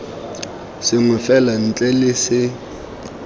sengwe fela ntle le se